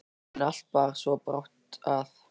En allt bar svo brátt að.